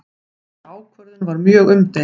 Þessi ákvörðun var mjög umdeild